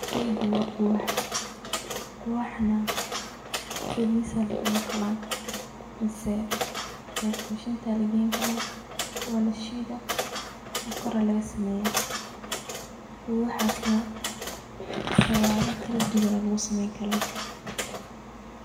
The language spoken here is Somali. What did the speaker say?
Sheygan wa quwax, quwaxana sidisa aya lugucuna kara mise like mashinta aya lageyni kara walashida sokor aya lagasameya. quwaxa siyabo kaladuwan aya lugusameyni kara.